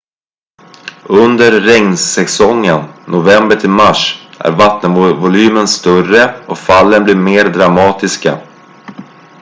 under regnsäsongen november till mars är vattenvolymen större och fallen blir mer dramatiska